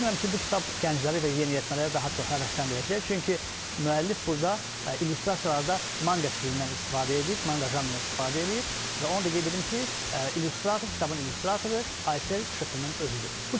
Düşünürəm ki, bu kitab gəncləri və yeniyetmələri daha çox həvəsləndirəcək, çünki müəllif burada illüstrasiyalarda manqa stilindən istifadə edib, manqa janrından istifadə edib və onu da qeyd edim ki, illüstrator, kitabın illüstratoru Aysel Şıxlının özüdür.